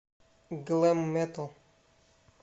глэм метал